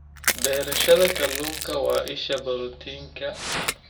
Beerashada kalluunka waa isha borotiinka.